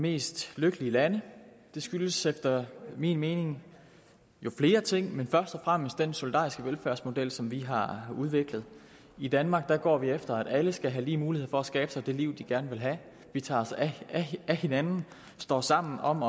mest lykkelige lande det skyldes efter min mening flere ting men først og fremmest den solidariske velfærdsmodel som vi har udviklet i danmark går vi efter at alle skal have lige muligheder for at skabe sig det liv de gerne vil have vi tager os af hinanden står sammen om